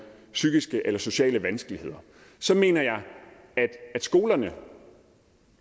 psykiske eller sociale vanskeligheder så mener jeg at skolerne